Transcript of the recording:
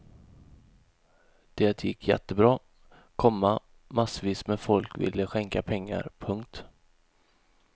Det gick jättebra, komma massvis med folk ville skänka pengar. punkt